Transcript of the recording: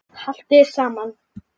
Haltu þér saman